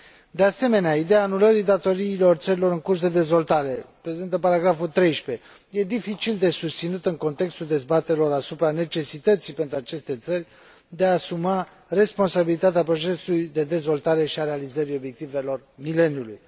De asemenea, ideea anulării datoriilor țărilor în curs de dezvoltare, prezentă la punctul 13, este dificil de susținut în contextul dezbaterilor asupra necesității, pentru aceste țări, de a și asuma responsabilitatea procesului de dezvoltare și a realizării Obiectivelor de dezvoltare ale mileniului.